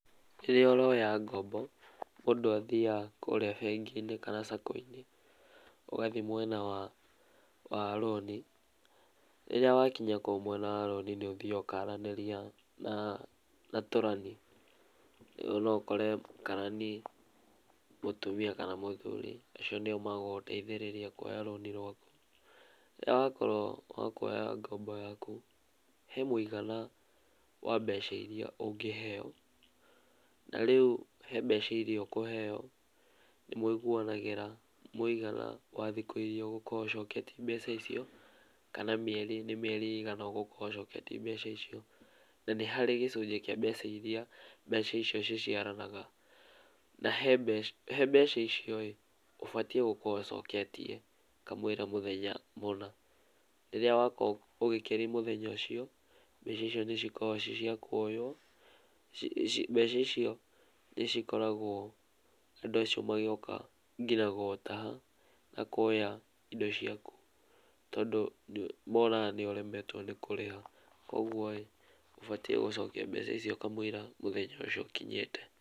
Rĩrĩa ũroya ngombo, mũndũ athiaga kũrĩa bengi-inĩ kana saco-inĩ, ũgathi mwena wa wa rũni. Rĩrĩa wakinya kũu mwena wa rũni nĩũthiaga ũkaranĩria na tũrani. No ũkore karani mũtumia kana mũthuri. Acio nĩo magũgũteithĩrĩria kuoya rũni rwaku. Rĩrĩa wakorwo wa kuoya ngombo yaku, he mũigana wa mbeca iria ũngĩheo, na rĩu he mbeca iria ũkũheo nĩ mũiguanagĩra mũigana wa thikũ iria ũgũkorwo ũcoketie mbeca icio, kana mĩeri nĩ mĩeri ĩigana ũgũkorwo ũcoketie mbeca icio. Na nĩ harĩ gĩcunjĩ kĩa mbeca iria mbeca icio ciciaranaga, na he mbe, he mbeca icio-ĩ, ũbatiĩ gũkorwo ũcoketie kamũira mũthenya mũna. Rĩrĩa wakorwo ũgĩkĩri mũthenya ũcio, mbeca icio nĩcikoragwo ci cia kuoywo, mbeca icio nĩcikoragwo andũ acio magĩũka ngina gũgũtaha na kuoya indo ciaku, tondũ monaga nĩũremetwo nĩ kũrĩha. Koguo-ĩ ũbatiĩ gũcokia mbeca icio kamũira mũthenya ũcio ũkinyĩte.